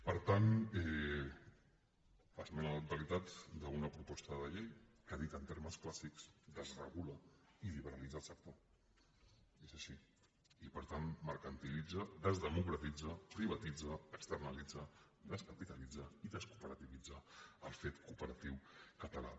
per tant esmena a la totalitat d’una proposta de llei que dit en termes clàssics desregula i liberalitza el sector és així i per tant mercantilitza desdemocratitza privatitza externalitza descapitalitza i descooperativitza el fet cooperatiu català